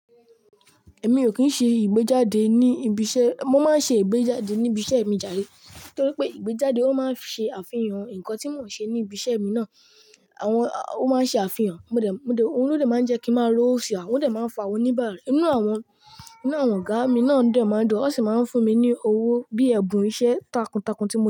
Èmi ò kín ṣe ìgbéjáde ní ibi iṣẹ́. Mo máa ń ṣe ìgbéjáde ní ibi iṣẹ́ mi jare, nítorí pé ìgbéjáde ó máa ń ṣe àfihàn nǹkan tí mò ń ṣe ní ibi iṣẹ́ mi náà. Àwọn, ó máa ń ṣe àfihàn, mo dẹ̀, mo dẹ̀, ohun lodẹ̀ máa ń jẹ́ kí n máa rówo ṣe a odẹ̀ máa ń fa awón oní ìbàrà. Inú àwọn, inú àwọn ọ̀gá mi náà dẹ̀ máa ń dùn, wọ́n sì máa ń fún mi ní owó bíi ẹ̀bùn iṣẹ́ takuntakun tí mo ti.